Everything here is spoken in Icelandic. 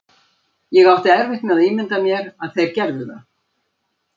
Ég átti erfitt með að ímynda mér að þeir gerðu það.